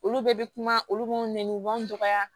Olu bɛɛ bɛ kuma olu b'anw nɛn u b'an dɔgɔya